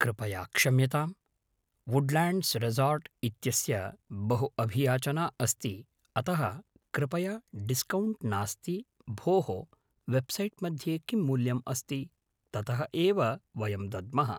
कृपया क्षम्यताम् Woodlands resort इत्यस्य बहु अभियाचना अस्ति अतः कृपया डिस्कौण्ट् नास्ति भोः वेब्सैट् मध्ये किं मूल्यम् अस्ति ततः एव वयं दद्मः